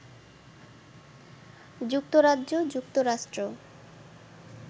যুক্তরাজ্য, যুক্তরাষ্ট্র